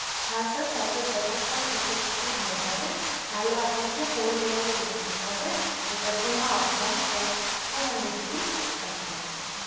হা sir chocolate butterscotch fifty fifty হয়ে যাবে তালে আপনাকে four layer cake যেটার জন্য আপনার two hundred extra পড়বে